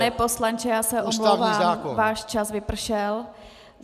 Pane poslanče, já se omlouvám, váš čas vypršel.